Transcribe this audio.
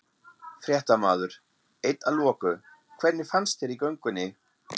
Fréttamaður: Eitt að loku, hvernig fannst þér í göngunni?